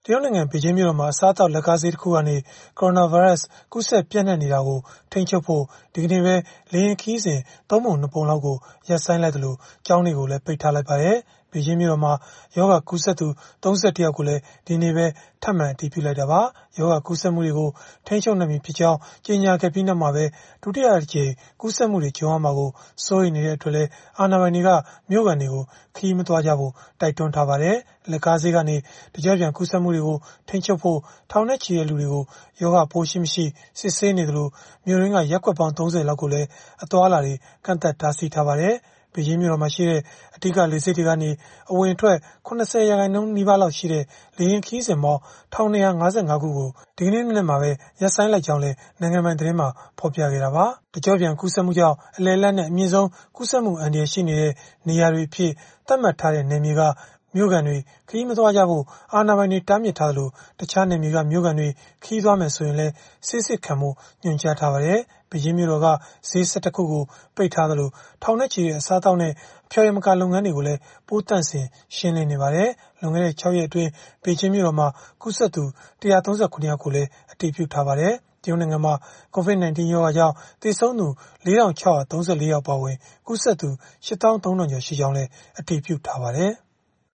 ရုတ်နိုင်ငံ ဘေဂျင်းမြို့တော်မှာ အစားအသောက် လက်ကားဈေးကနေ ကိုရိုနာဗိုင်းရပ်စ် ကူးစက်ပျံ့နှံ့နေတာကို ထိန်းချုပ်ဖို့ ဒီကနေ့ပဲ လေယာဉ်ခရီးစဉ် ၃ ပုံ ၂ ပုံလောက်ကို ရပ်ဆိုင်းလိုက်သလို ကျောင်းတွေကိုလည်း ပိတ်လိုက်ပါတယ်။ ဘေဂျင်းမြို့တော်မှာ ရောဂါကူးစက်သူ ၃၁ ယောက်ကိုလည်း ဒီကနေ့ပဲ ထပ်မံအတည်ပြုလိုက်တာပါ။ ရောဂါကူးစက်မှုတွေကို ထိန်းချုပ်နိုင်ပြီဖြစ်ကြောင်း ကြေညာခဲ့ပြီးနောက်မှာပဲ ဒုတိယအကြိမ် ကူးစက်မှုတွေ ကြုံရမှာကို စိုးရိမ်နေတဲ့အတွက်လည်း အာဏာပိုင်တွေက မြို့ခံတွေကို ခရီးမသွားကြဖို့ တိုက်တွန်းထားပါတယ်။ လက်ကားဈေးကနေ တကျော့ပြန်ကူးစက်မှုတွေကို ထိန်းချုပ်ဖို့ ထောင်နဲ့ချီတဲ့လူတွေကို ရောဂါပိုးရှိ-မရှိ စစ်ဆေးနေသလို မြို့တွင်းက ရပ်ကွက်ပေါင်း ၃၀ လောက်ကိုလည်း အသွားအလာတွေ ကန့်သတ်တားဆီးထားပါတယ်။ ဘေဂျင်းမြို့တော်မှာရှိတဲ့ အဓိကလေဆိပ်တွေကနေ အဝင်အထွက် ၇၀ ရာခိုင်နှုန်း လောက်ရှိတဲ့ လေယာဉ်ခရီးစဉ်ပေါင်း ၁,၂၅၅ ခုကို ဒီနေ့မနက်မှာပဲ ဖျက်လိုက်ကြောင်းလည်း နိုင်ငံပိုင်သတင်းမှာ ဖော်ပြခဲ့တာပါ။ တကျော့ပြန်ကူးစက်မှုကြောင့် အလယ်အလတ်နဲ့ အမြင့်ဆုံးကူးစက်မှု အန္တရာယ်ရှိတဲ့ နေရာတွေအဖြစ် သတ်မှတ်ထားတဲ့ နယ်မြေက မြို့ခံတွေ ခရီးမသွားကြဖို့ အာဏာပိုင်တွေ တားမြစ်ထားသလို တခြားနယ်မြေက မြို့ခံတွေ ခရီးသွားမယ်ဆိုရင်လည်း ဆေးစစ်ခံဖို့ ညွှန်ကြားထားပါတယ်။ ဘေဂျင်းမြို့တော်က ဈေး ၁၁ ခုကို ပိတ်လိုက်သလို ထောင်နဲ့ချီတဲ့ အစားအသောက်နဲ့ အဖျော်ယမကာ လုပ်ငန်းတွေကိုလည်း ပိုးသန့်စင်ရှင်းလင်းနေပါတယ်။ လွန်ခဲ့တဲ့ ၆ ရက်အတွင်း ဘေဂျင်းမြို့တော်မှာ ကူးစက်သူ ၁၃၇ ယောက်ကိုလည်း အတည်ပြုထားပါတယ်။ တရုတ်နိုင်ငံမှာ COVID-19 ရောဂါကြောင့် သေဆုံးသူ ၄,၆၃၄ ယောက် အပါအဝင် ကူးစက်သူ ၈၃,၀၀၀ ကျော် ရှိကြောင်းလည်း အတည်ပြုထားပါတယ်။